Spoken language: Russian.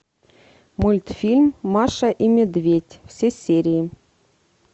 мультфильм маша и медведь все серии